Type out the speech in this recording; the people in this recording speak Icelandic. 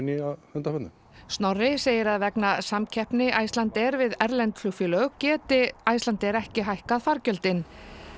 undanförnu Snorri segir að vegna samkeppni Icelandair við erlend flugfélög geti Icelandair ekki lækkað fargjöldin